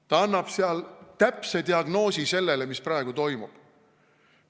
Ta annab seal täpse diagnoosi sellele, mis praegu toimub.